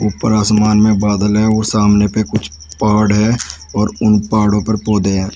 उपर आसमान में बादल है औऱ सामने पे कुछ पहाड़ हैं और उन पहाड़ो पर पौधे हैं।